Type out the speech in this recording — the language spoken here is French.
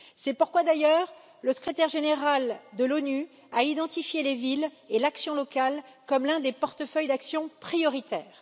C'est pourquoi, d'ailleurs, le Secrétaire général de l'ONU a identifié les villes et l'action locale comme l'un des portefeuilles d'action prioritaires.